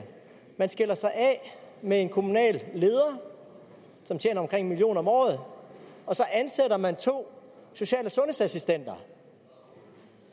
man skiller sig af med en kommunal leder som tjener omkring en million kroner om året og så ansætter man to social og sundhedsassistenter